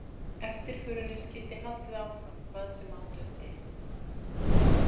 Eftirförinni skyldi haldið áfram hvað sem á dundi.